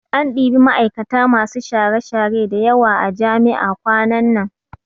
An ɗibi ma'aikata masu share-share da yawa a jami'a kwanan nan